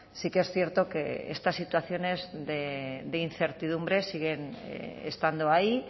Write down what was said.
sí que es cierto que estas situaciones de incertidumbre siguen estando ahí